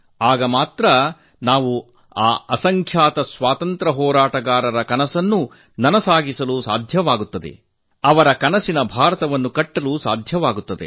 ಆಗ ಮಾತ್ರ ನಾವು ಆ ಅಸಂಖ್ಯಾತ ಸ್ವಾತಂತ್ರ್ಯ ಹೋರಾಟಗಾರರ ಕನಸನ್ನು ನನಸಾಗಿಸಲು ಸಾಧ್ಯ ಮತ್ತು ಅವರ ಕನಸಿನ ಭಾರತವನ್ನು ಕಟ್ಟಲು ಸಾಧ್ಯವಾಗುತ್ತದೆ